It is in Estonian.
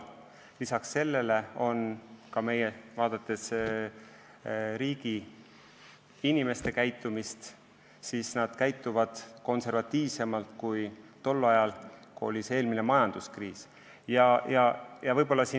Lisaks sellele on ka meie riigi inimeste käitumine konservatiivsem kui eelmise majanduskriisi eel.